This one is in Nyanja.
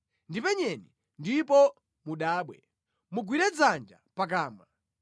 Ndipenyeni ndipo mudabwe; mugwire dzanja pakamwa.